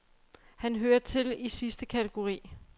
Han hører til i sidste kategori.